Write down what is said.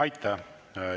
Aitäh!